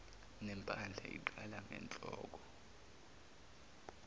nempandla iqala ngenhlonhlo